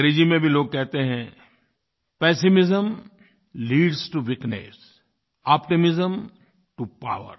अंग्रेज़ी में भी लोग कहते हैं pessimism leads to weakness optimism to power